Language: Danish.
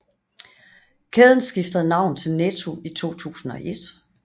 Kæden skiftede navn til Netto i 2001